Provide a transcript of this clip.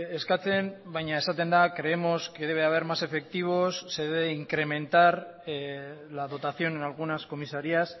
eskatzen baina esaten da creemos que debe haber más efectivos se debe incrementar la dotación en algunas comisarías